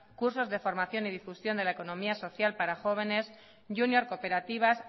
cursos de formación y difusión de la economía social para jóvenes júnior cooperativas